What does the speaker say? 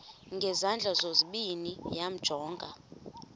ngezandla zozibini yamjonga